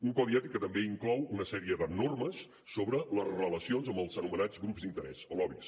un codi ètic que també inclou una sèrie de normes sobre les relacions amb els anomenats grups d’interès o lobbys